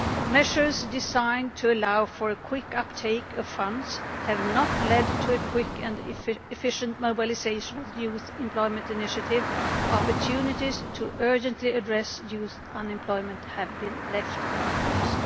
Measures designed to allow for a quick uptake of funds have not led to a quick and efficient mobilisation of the Youth Employment Initiative, and opportunities to urgently address youth unemployment have been left unused.